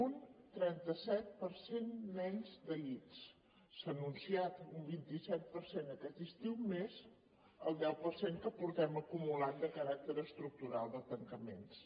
un trenta set per cent menys de llits s’ha anunciat un vint set per cent aquest estiu més el deu per cent que portem acumulat de caràcter estructural de tancaments